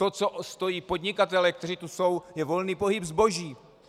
O co stojí podnikatelé, kteří tu jsou, je volný pohyb zboží.